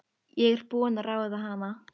Ég er búin að ráða hana!